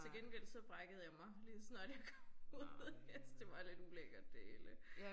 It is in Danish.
Til gengæld så brækkede jeg mig ligeså snart jeg kom ud. Jeg syntes det var lidt ulækket det hele